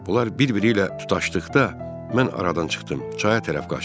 Bunlar bir-biri ilə tutaşdıqda mən aradan çıxdım, çaya tərəf qaçdım.